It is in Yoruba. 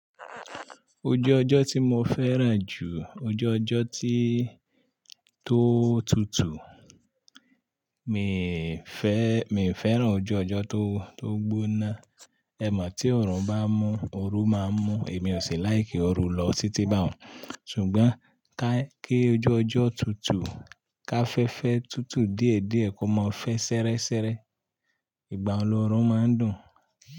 Ojú ọjọ́ tí mo fẹ́ràn jù, ojú ọjọ́ tí tó tutù. Miì fẹ́, mi ò fẹ́ràn ojú ọjọ́ tó, tó gbóná. Ẹ mọ̀ tí ọ̀orun bá mú, oru máa ń mú, èmi ò sì láì kí oru lọ títí bá hàn. Ṣùgbọ́n káí kí ojú ọjọ́ tutù, ká fẹ́ fẹ́ tutù díẹ̀díẹ̀ kí ó má fẹ́ ṣẹrẹ́ṣẹrẹ́. Ìgbàyen lọ́run máa ń dùn.